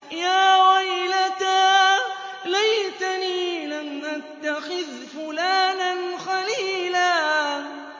يَا وَيْلَتَىٰ لَيْتَنِي لَمْ أَتَّخِذْ فُلَانًا خَلِيلًا